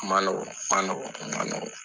Man man nɔgɔ man nɔgɔ